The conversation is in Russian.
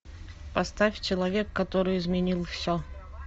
поставь человек который изменил все